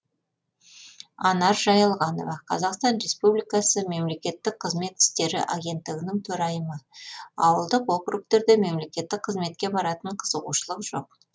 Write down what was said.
анар жайылғанова қазақстан республикасы мемлекеттік қызмет істері агенттігінің төрайымы ауылдық округтерде мемлекеттік қызметке баратын қызығушылық жоқ